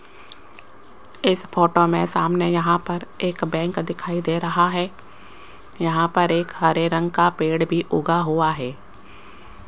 इस फोटो में सामने यहां पर एक बैंक दिखाई दे रहा है यहां पर एक हरे रंग का पेड़ भी उगा हुआ है।